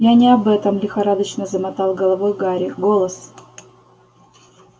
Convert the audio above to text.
я не об этом лихорадочно замотал головой гарри голос